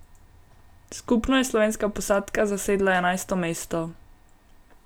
Skupno je slovenska posadka zasedla enajsto mesto.